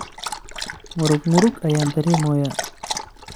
Murug murug ayan daremoya.